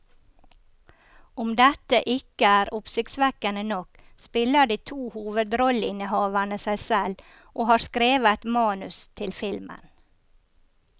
Om dette ikke er oppsiktsvekkende nok, spiller de to hovedrolleinnehaverne seg selv og har skrevet manus til filmen.